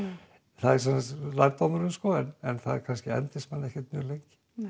það er lærdómurinn en það kannski endist manni ekkert mjög lengi